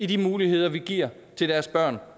de muligheder vi giver til deres børn